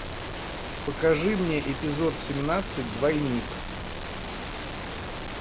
покажи мне эпизод семнадцать двойник